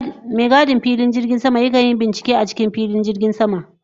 Mai gadin filin jirgin sama ya kan yi bincike a filin jirgin sama.